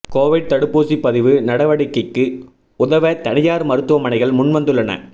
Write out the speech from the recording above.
Covid தடுப்பூசி பதிவு நடவடிக்கைக்கு உதவ தனியார் மருத்துவமனைகள் முன் வந்துள்ளன